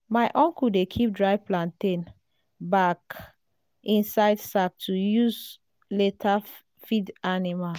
my uncle dey keep dry plantain back inside sack to use later feed animal.